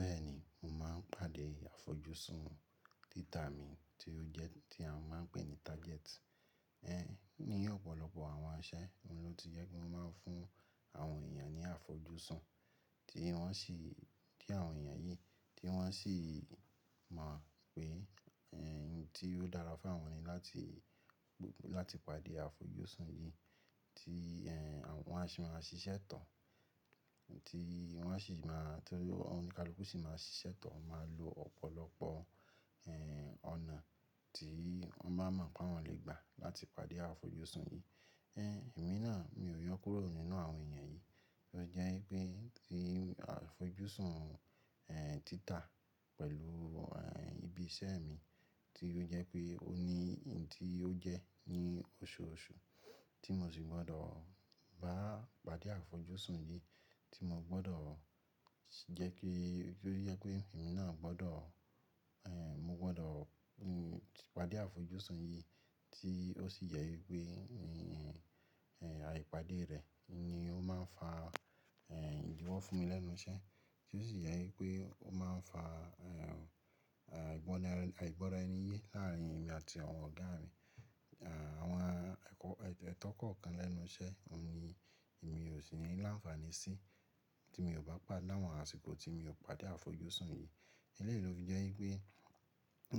Bẹ́ẹ̀ni, mo máa ń pàdé àfojúsùn títamì tí ó jẹ́ tí a máa ń pè ní target. Ẹ̀yin ni ọ̀pọ̀lọpọ̀ àwọn aṣẹ, òun ló ti jẹ́ kí mo máa ń fún àwọn èèyàn ní àfojúsùn tí wọ́n sì, tí àwọn èèyàn yìí tí wọ́n sì máa pè ẹ̀yin tí yóò dára fún wọn ni láti, láti pàdé àfojúsùn yìí tí ẹ́ wọ́n á sì máa ṣiṣẹ́ tán, tí wọ́n á sì máa, tí oníkálukú sì máa ṣiṣẹ́ tán, ó máa lo ọ̀pọ̀lọpọ̀, ẹ́, ọ̀nà tí wọ́n bá mọ̀ pé awọ́n lè gbà láti pàdé àfojúsùn yìí. Ẹ̀hn, èmi náà mi ò yọ kúrò nínú àwọn èèyàn yìí, ó jẹ́ wipé tí àfojúsùn, ẹ́, títà pẹ̀lú, ẹ́, ibi iṣẹ́ mi tí ó jẹ́ pé ó ní òun tí ó jẹ́ ní oṣooṣù tí mo sì gbọ́dọ̀ bá pàdé àfojúsùn yìí tí mo gbọ́dọ̀ jẹ́ kí ti ó jẹ pé èmi náà gbọ́dọ̀, ẹ́, mo gbọ́dọ̀, ẹ́, pàdé àfojúsùn yìí tí ó sì jẹ wipé ẹ̀ àìpàdé rẹ̀ ni ó máa ń fa, ẹ́, ìdíwọ́ fún mi lẹ́nu iṣẹ́ tí ó sì jẹ wipé ó máa ń fa, ẹ́, ìgbọnira, àìgbọ́ra ẹni yé láàrin èmi àti àwọn ọ̀gá mi. Àwọn ẹ̀tọ́ kọ̀ọ̀kan lẹ́nu iṣẹ́ òun ni èmi ò sì ní láǹfààní sí tí mi ò bá pàdé àwọn àsìkò tí mi o pàdé àfojúsùn yìí. Eléyìí ló fi jẹ́ wípé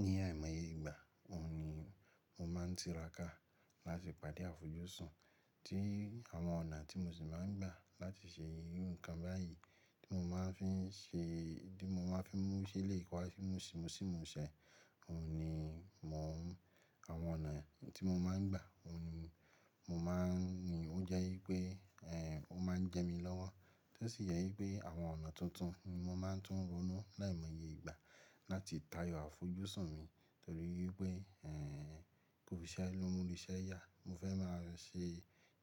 ní àìmọye ìgbà, òun ni mo máa ń tiraka láti pàdé àfojúsùn tí àwọn ọ̀nà tí mo sì máa ń gbà láti ṣe ohun kan báyìí tí mo máa ń fi ń ṣe, tí mo máa ń fi mú sílé, ko wá fi mú sí, mú sí ìmú iṣẹ́, òun ni mò ń, àwọn ọ̀nà tí mo máa ń gbà, òun ni mo máa ń ní ó jẹ́ wípé, ẹ́, ó máa ń jẹ mí lọ́wọ́ Tó sì jẹ wípé àwọn ọ̀nà tuntun ni mo máa ń tún ronú láìmọye ìgbà láti tayọ àfojúsùn mi torí wípé, ẹ́, kò sí ẹ́ lómulò iṣẹ́ yà. Mo fẹ́ máa ṣe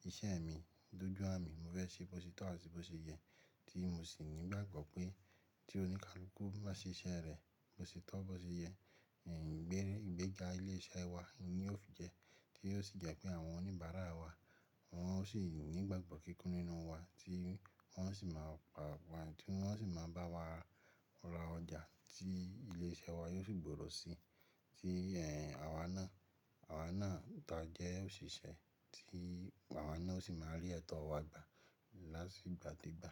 iṣẹ́ mi dojú àmi, mo fẹ́ ṣe bó ti tọ́ àti bó ṣe yẹ tí mo sì ní ìgbàgbọ́ pé tí oníkálukú bá ṣe iṣẹ́ rẹ̀ bó ṣe tọ́, bó ṣe yẹ, ẹ̀, ìgbérè, ìgbéga ilé iṣẹ́ wa ni yóò fi jẹ́ tí ó sì jẹ́ pé àwọn oníbàárà wa wọ́n ó sì ní ìgbàgbọ́ kíkún nínú wa tí wọ́n sì máa pa, tí wọ́n sì máa bá wa ra ọjà tí ilé iṣẹ́ wa yóò sì gbòòrò sí tí, ẹ́, àwa náà, àwa náà tó jẹ́ òṣìṣẹ́ tí àwa náà sì máa rí ẹ̀tọ́ wa gbà láti ìgbà dé gbà.